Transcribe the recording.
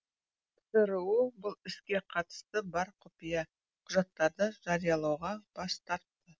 цру бұл іске қатысы бар құпия құжаттарды жариялауға бас тарт